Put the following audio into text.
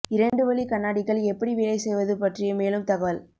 இரண்டு வழி கண்ணாடிகள் எப்படி வேலை செய்வது பற்றிய மேலும் தகவல்